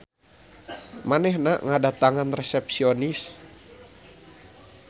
Manehna ngadatangan resepsionis.